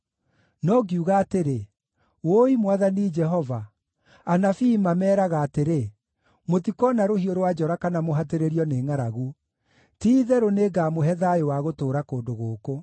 No ngiuga atĩrĩ, “Wũi, Mwathani Jehova, anabii mameeraga atĩrĩ, ‘Mũtikoona rũhiũ rwa njora kana mũhatĩrĩrio nĩ ngʼaragu. Ti-itherũ, nĩngamũhe thayũ wa gũtũũra kũndũ gũkũ.’ ”